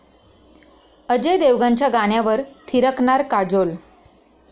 अजय देवगणच्या गाण्यावर थिरकणार काजोल